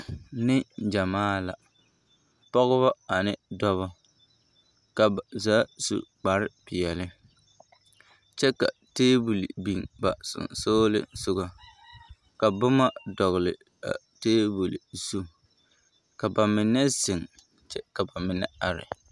Neŋgyamaa la, pɔgebɔ ane dɔbɔ, ka ba zaa su kpare peɛle kyɛ ka teebol biŋ ba sonsoolesogɔ ka boma dɔgele a teebol zu ka bamine zeŋ kyɛ ka bamine are.